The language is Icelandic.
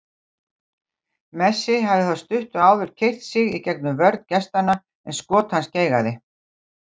Messi hafði þá stuttu áður keyrt sig í gegnum vörn gestanna, en skot hans geigaði.